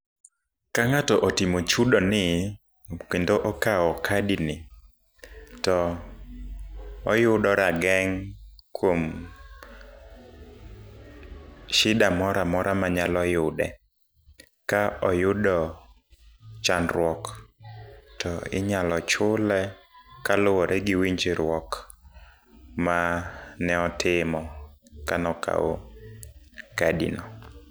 Kangáto otimo chudo ni kendo okao kadi ni, to oyudo rageng' kuom shida moramora manyalo yude. Ka oyudo chandruok to inyalo chule kaluwore gi winjruok ma ne otimo ka ne okawo kadi no.